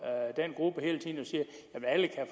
den gruppe